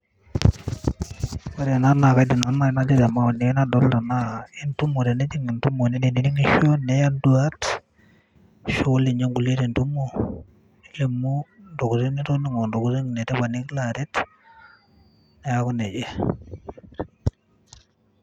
Ore ena naa kaidim naa te maoani aai nadolita enaa entumo teniidim entumo ninining'isho niya nduat ashu intokitin nitoning'o etipat nikilo aaret, neeku neija.